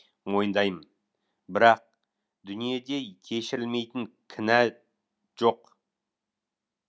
мойындаймын бірақ дүниеде кешірілмейтін кінә жоқ